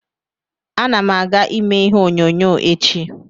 Ana m aga ime ihe onyonyo echi.